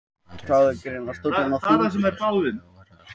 Í Bandaríkjunum gegnir öðru máli um skipan sérstakra eða óháðra saksóknara.